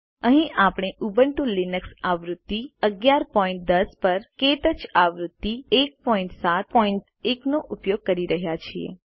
અહીં આપણે Ubuntu Linux આવૃત્તિ 1110 પર ક્ટચ આવૃત્તિ 171 નો ઉપયોગ કરી રહ્યા છીએ